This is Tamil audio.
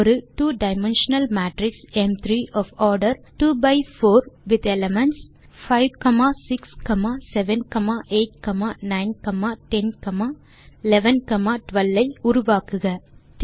ஒரு ட்வோ டைமென்ஷனல் மேட்ரிக்ஸ் ம்3 of order 2 by 4 with elements 5 6 7 8 9 10 11 12 ஐ உருவாக்குக